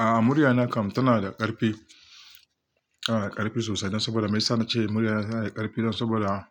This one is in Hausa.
A'a, murya na kam tana da ƙarfi, a'a ƙarfi sosai. Dan saboda me yasa na ce, murya na tana da ƙarfi dan saboda